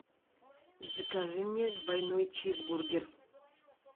закажи мне двойной чизбургер